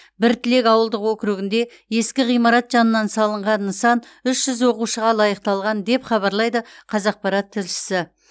біртілек ауылдық округінде ескі ғимарат жанынан салынған нысан үш жүз оқушыға лайықталған деп хабарлайды қазақпарат тілшісі